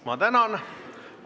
Ma tänan!